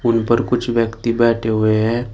उन पर कुछ व्यक्ति बैठे हुए हैं।